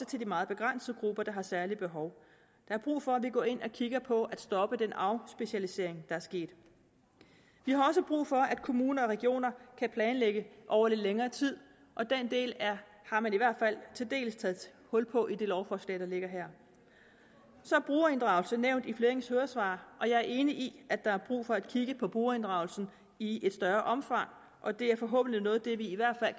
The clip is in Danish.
til de meget begrænsede grupper der har særlige behov der er brug for at vi går ind og kigger på at stoppe den afspecialisering der er sket vi har også brug for at kommuner og regioner kan planlægge over lidt længere tid og den del har man i hvert fald til dels taget hul på i det lovforslag der ligger her så er brugerinddragelse nævnt i flere høringssvar og jeg er enig i at der er brug for at kigge på brugerinddragelse i et større omfang og det er forhåbentlig noget af det vi i hvert fald